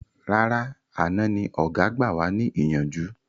Rárá àná ni ọ̀gá gbà wà ní ìyànjú